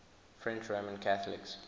french roman catholics